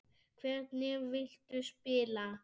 Hvernig viltu spila?